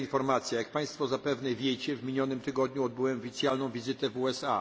Jak państwo zapewne wiecie, w minionym tygodniu odbyłem oficjalną wizytę w USA.